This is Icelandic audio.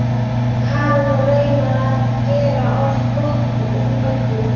Karen og reyna að gera gott úr öllu.